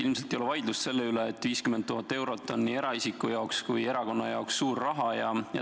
Ilmselt ei ole vaidlust selle üle, et 50 000 eurot on nii eraisiku kui ka erakonna jaoks suur raha.